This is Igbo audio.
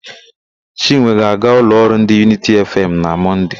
Chinwe ga-aga ụlọ ọrụ ndị Yunity Efeem na Mọnde.